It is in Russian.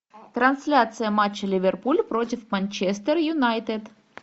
трансляция матча ливерпуль против манчестер юнайтед